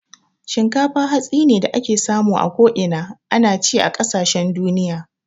Shinkafa hatsi ne da ake samu a ko'ina. Ana ci a kasashen duniya